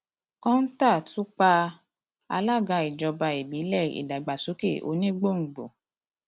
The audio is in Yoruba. kọńtà tún pa alága ìjọba ìbílẹ ìdàgbàsókè onígbòǹgbò